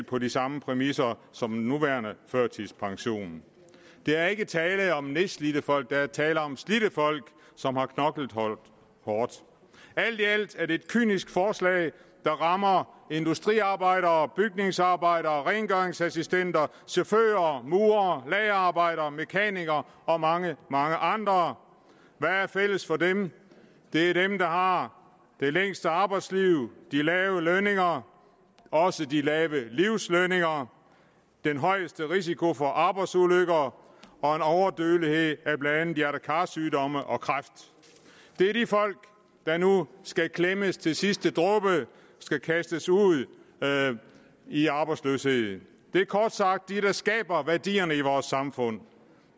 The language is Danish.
på de samme præmisser som den nuværende førtidspension der er ikke tale om nedslidte folk der er tale om slidte folk som har knoklet hårdt alt i alt er det et kynisk forslag der rammer industriarbejdere bygningsarbejdere rengøringsassistenter chauffører murere lagerarbejdere mekanikere og mange mange andre hvad er fælles for dem det er dem der har det længste arbejdsliv de lave lønninger og også de lave livslønninger den højeste risiko for arbejdsulykker og en overdødelighed af blandt andet hjerte kar sygdomme og kræft det er de folk der nu skal klemmes til sidste dråbe og kastes ud i arbejdsløshed det er kort sagt dem der skaber værdierne i vores samfund